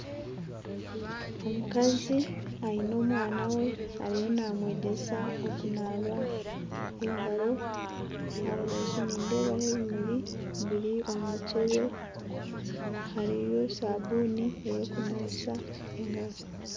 Omukazi aine omwana we ariyo namwegyesa okunaaba engaro. Aha rubaju nindeebaho ebimuri biri omu mukyebe, hariyo sabuuni ey'okunabisa engaro.